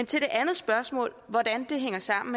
til det andet spørgsmål hvordan det hænger sammen